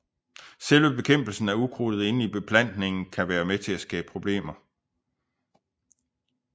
Selve bekæmpelsen af ukrudtet inde i beplantningen kan være med til at skabe problemer